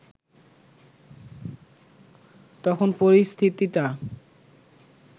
তখন পরিস্থিতিটা